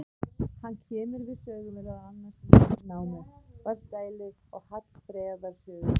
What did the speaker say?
Hann kemur við sögu meðal annars í Landnámu, Vatnsdælu og Hallfreðar sögu.